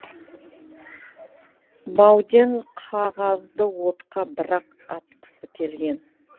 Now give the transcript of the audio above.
бауден қағазды отқа бір ақ атқысы келген